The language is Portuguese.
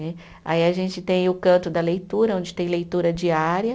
Né. Aí a gente tem o canto da leitura, onde tem leitura diária.